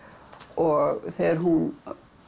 og þegar hún